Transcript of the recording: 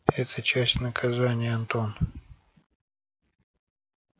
это часть наказания антон